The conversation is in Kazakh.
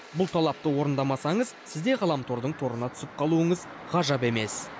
бұл талапты орындамасаңыз сіз де ғаламтордың торына түсіп қалуыңыз ғажап емес